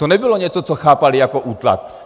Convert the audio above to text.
To nebylo něco, co chápaly jako útlak.